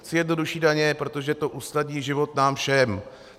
Chci jednodušší daně, protože to usnadní život nám všem.